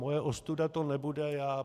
Moje ostuda to nebude.